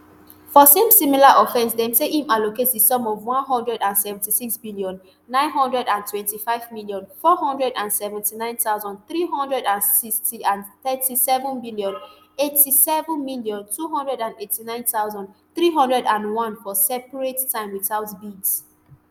for same similar offence dem say im allocate di sum of one hundred and seventy-six billion, nine hundred and twenty-five million, four hundred and seventy-nine thousand, three hundred and sixteen and thirty-seven billion, eighty-seven million, two hundred and eighty-nine thousand, three hundred and one for separate time witout bids